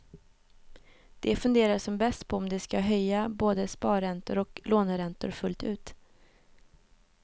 De funderar som bäst på om de ska höja både sparräntor och låneräntor fullt ut.